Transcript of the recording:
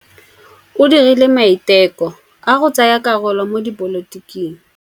O dirile maitekô a go tsaya karolo mo dipolotiking.